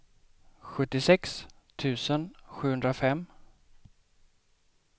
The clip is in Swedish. sjuttiosex tusen sjuhundrafem